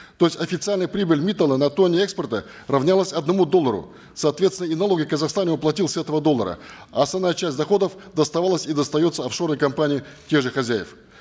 то есть официальная прибыль миттала на тонне экспорта равнялась одному доллару соответственно и налоги в казахстане он платил с этого доллара а основная часть доходов доставалась и достается оффшорной компании тех же хозяев